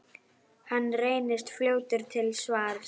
Hann reynist fljótur til svars.